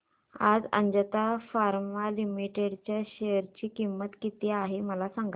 आज Ajanta pharma limited च्या share ची किंमत किती आहे मला सांगा